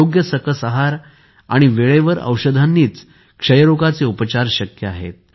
योग्य सकस आहार वेळेवर औषधांनीच क्षयरोगाचे उपचार शक्य आहेत